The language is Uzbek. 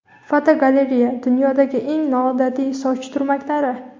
Fotogalereya: Dunyodagi eng noodatiy soch turmaklari.